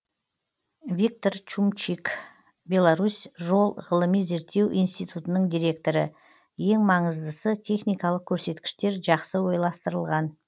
виктор шумчик беларусь жол ғылыми зерттеу институтының директоры ең маңыздысы техникалық көрсеткіштер жақсы ойластырылған